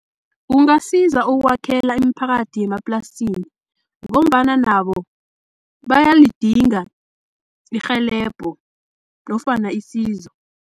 Kungasiza ukwakhela imiphakathi yemaplasini, ngombana nabo bayalidinga irhelebho nofana isizo.